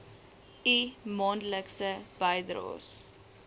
u maandelikse bydraes